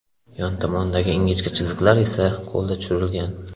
Yon tomonidagi ingichka chiziqlar esa qo‘lda tushirilgan.